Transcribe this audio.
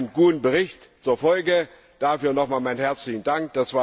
Das hatte einen guten Bericht zur Folge. Dafür nochmals meinen herzlichen Dank.